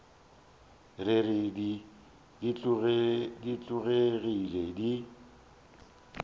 re re di tlogele di